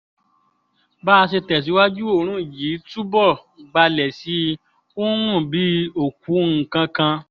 bá a ṣe tẹ̀síwájú oòrùn yìí túbọ̀ gbalẹ̀ sí i ó ń rùn bíi òkú nǹkan kan